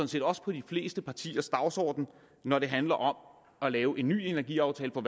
set også på de fleste partiers dagsorden når det handler om at lave en ny energiaftale for